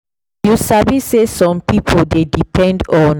you sabi say some people dey depend on both prayer and medicine to feel say dem don really heal.